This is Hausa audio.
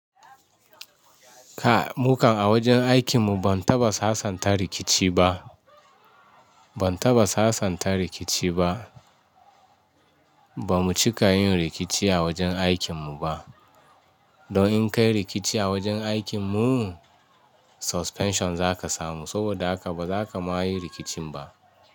Kai, mu kan a wajen aikin mu ban taɓa sasanta rikici ba. Ban taɓa sasanta rikici ba. Ba mu cika yin rikici a wajen aikin mu ba. Don in kai rikici a wajen aikin mu, suspension za ka samu saboda haka ba za ka ma yi rikicin ba.